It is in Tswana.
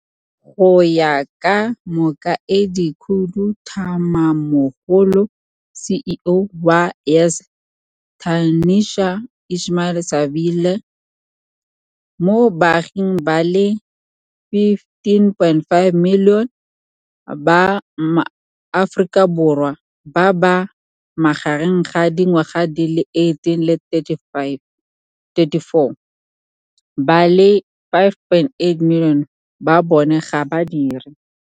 Go ya ka Mokaedikhuduthamagamogolo, CEO, wa YES Tashmia Ismail-Saville, mo baaging ba le 15.5 milione ba Aforika Bo rwa ba ba magareng ga di ngwaga di le 18 le 34, ba le 5.8 milione ba bone ga ba dire.